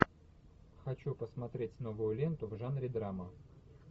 хочу посмотреть новую ленту в жанре драма